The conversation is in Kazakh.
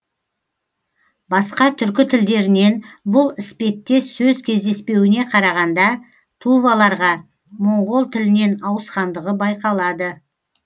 басқа түркі тілдерінен бұл іспеттес сөз кездеспеуіне қарағанда туваларға моңғол тілінен ауысқандығы байқалады